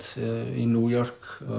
í New York